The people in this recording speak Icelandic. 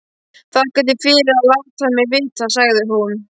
Þakka þér fyrir að láta mig vita, sagði hún.